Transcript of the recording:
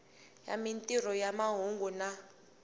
ya mintirho ya mahungu na